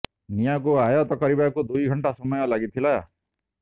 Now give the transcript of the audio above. ନିଆଁ କୁ ଆଯତ୍ତ କରିବାକୁ ଦୁଇ ଘଣ୍ଟା ସମୟ ଲାଗିଥିଲା